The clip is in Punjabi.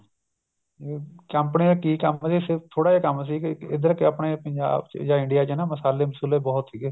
ਹਮ company ਤਾਂ ਕੀ company ਸਿਰਫ ਥੋੜਾ ਜਾ ਕੰਮ ਸੀ ਇੱਧਰ ਆਪਣੇ ਪੰਜਾਬ ਚ ਜਾਂ India ਚ ਹਨਾ ਮਸਾਲੇ ਮਸੁਲੇ ਬਹੁਤ ਸੀਗੇ